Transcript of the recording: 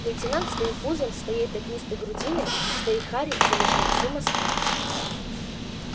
лейтенант своим пузом своей пятнистой грудиной своей харей замещал всю москву